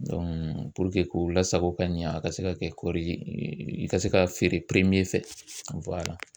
Dɔnku puruke k'o lasago ka ɲɛ a ka se ka kɛ kɔɔri ye e i ka se ka feere piremiye fɛ wala